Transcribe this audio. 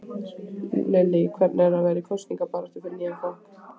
Lillý: Hvernig er það vera í kosningabaráttu fyrir nýjan flokk?